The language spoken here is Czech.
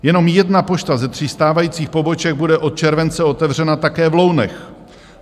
Jenom jedna pošta ze tří stávajících poboček bude od července otevřena také v Lounech.